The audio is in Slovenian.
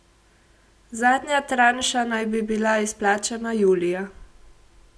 Zadnja tranša naj bi bila izplačana julija.